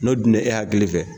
N'o dun bɛ e hakili fɛ.